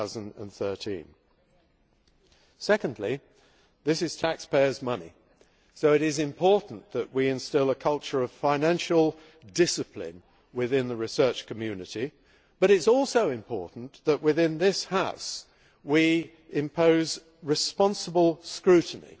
2013. Secondly, this is taxpayers' money, so it is important that we instil a culture of financial discipline in the research community but it is also important that within this House we impose responsible scrutiny